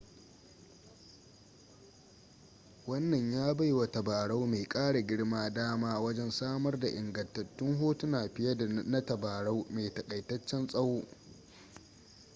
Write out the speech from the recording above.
wannan ya bai wa tabarau mai kara girma dama wajen samar da ingantattun hotuna fiye da na tabarau mai takaitaccen tsawo